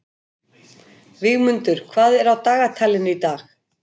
Vígmundur, hvað er á dagatalinu í dag?